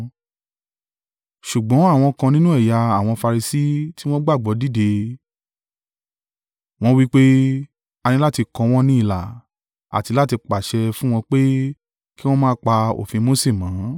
Ṣùgbọ́n àwọn kan nínú ẹ̀yà àwọn Farisi tí wọ́n gbàgbọ́ dìde, wọ́n ń wí pé, “A ní láti kọ wọ́n ní ilà, àti láti pàṣẹ fún wọn pé kí wọn máa pa òfin Mose mọ́.”